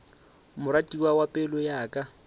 moratiwa wa pelo ya ka